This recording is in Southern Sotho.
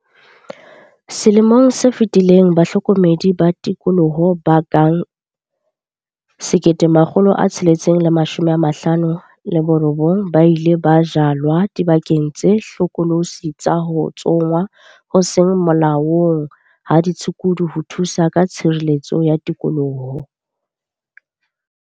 Selemong se fetileng bahlokomedi ba tikoloho ba ka bang 1 659 ba ile ba jalwa dibakeng tse hlokolosi tsa ho tsongwa ho seng molaong ha ditshukudu ho thusa ka tshireletso ya tikoloho.